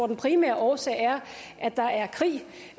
den primære årsag er